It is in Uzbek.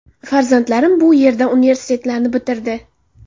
Farzandlarim bu yerda universitetlarni bitirdi.